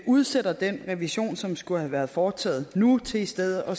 udsætter den revision som skulle have været foretaget nu til i stedet at